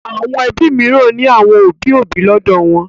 Àwọn ẹbí mìíràn ní àwọn òbí-òbí wọn lọ́dọ̀.